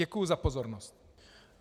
Děkuji za pozornost.